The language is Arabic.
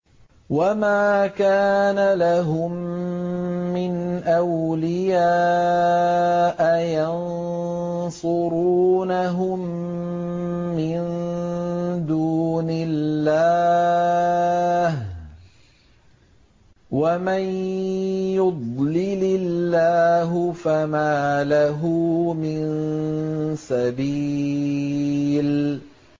وَمَا كَانَ لَهُم مِّنْ أَوْلِيَاءَ يَنصُرُونَهُم مِّن دُونِ اللَّهِ ۗ وَمَن يُضْلِلِ اللَّهُ فَمَا لَهُ مِن سَبِيلٍ